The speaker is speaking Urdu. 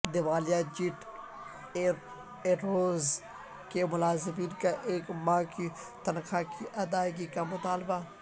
دیوالیہ جیٹ ایرویز کے ملازمین کا ایک ماہ کی تنخواہ کی ادائیگی کا مطالبہ